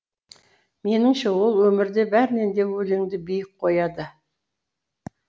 меніңше ол өмірде бәрінен де өлеңді биік қояды